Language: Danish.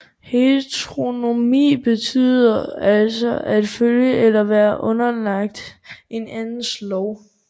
Heteronomi betyder altså at følge eller være underlagt en andens lov